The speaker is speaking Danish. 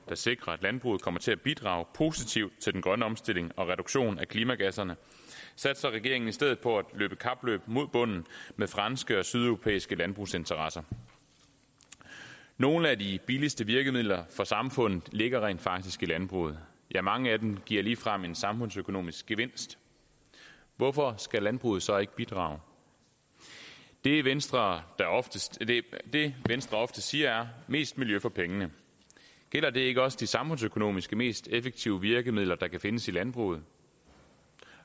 der sikrer at landbruget kommer til at bidrage positivt til den grønne omstilling og reduktionen af klimagasserne satser regeringen i stedet på at løbe kapløb mod bunden med franske og sydeuropæiske landbrugsinteresser nogle af de billigste virkemidler for samfundet ligger rent faktisk i landbruget ja mange af dem giver ligefrem en samfundsøkonomisk gevinst hvorfor skal landbruget så ikke bidrage det venstre det venstre ofte siger er mest miljø for pengene gælder det ikke også de samfundsøkonomisk mest effektive virkemidler der kan findes i landbruget